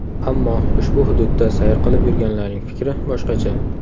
Ammo ushbu hududda sayr qilib yurganlarning fikri boshqacha.